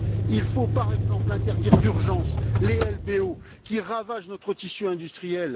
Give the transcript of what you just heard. Il faut, par exemple, interdire d'urgence les LBO, qui ravagent notre tissu industriel.